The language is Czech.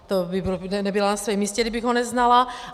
To bych nebyla na svém místě, kdybych ho neznala.